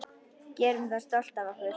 Gerum það stolt af okkur.